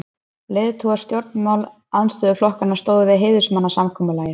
Leiðtogar stjórnarandstöðuflokkanna stóðu við heiðursmannasamkomulagið.